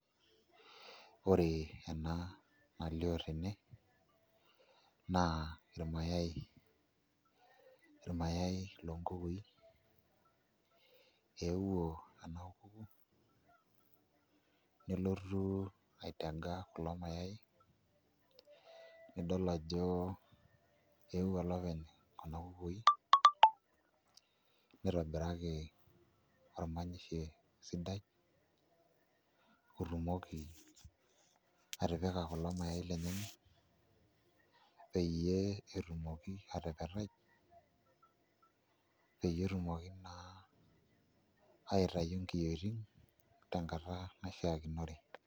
Ore ena nalioo tene naa irmayaai, irmayaai loonkukui eeuo ena kuku nelotu aitaga kulo mayaai nidol ajo eeuo olopeny kuna kukui nitobiraki ormanyisho sidai otumoki atipika kulo mayaai lenyenak peyie etumoki atepetai peyie etumoki naa aitayu nkiyioitin tenkoitoi naishiakinore.